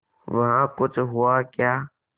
वहाँ कुछ हुआ क्या